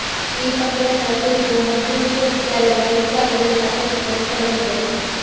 ಈ ಪಂಗಡಗಳ ಕುರಿತು ಹಂಪಿ ವಿಶ್ವವಿದ್ಯಾಲಯ ಈಗಾಗಲೇ ಸಾಕಷ್ಟು ಕೆಲಸ ಮಾಡಿದೆ